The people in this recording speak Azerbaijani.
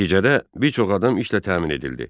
Nəticədə bir çox adam işlə təmin edildi.